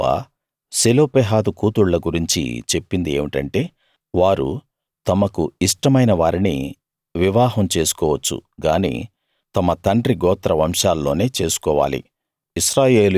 యెహోవా సెలోపెహాదు కూతుళ్ళ గురించి చెప్పింది ఏమిటంటే వారు తమకు ఇష్టమైన వారిని వివాహం చేసుకోవచ్చు గాని తమ తండ్రి గోత్ర వంశాల్లోనే చేసుకోవాలి